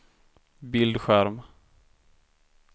bildskärm